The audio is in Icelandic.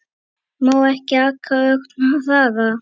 Má ekki aka ögn hraðar?